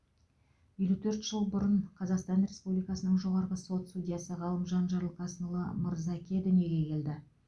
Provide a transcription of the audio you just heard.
елу төрт жыл бұрын қазақстан республикасының жоғарғы сот судьясы ғалымжан жарылқасынұлы мырзаке дүниеге келді